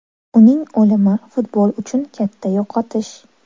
Uning o‘limi futbol uchun katta yo‘qotish.